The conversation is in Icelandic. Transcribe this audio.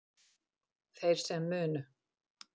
Þeir sem munu